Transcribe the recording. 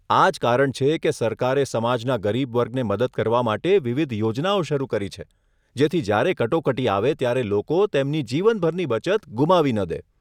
આ જ કારણ છે કે સરકારે સમાજના ગરીબ વર્ગને મદદ કરવા માટે વિવિધ યોજનાઓ શરૂ કરી છે, જેથી જ્યારે કટોકટી આવે ત્યારે લોકો તેમની જીવનભરની બચત ગુમાવી ન દે.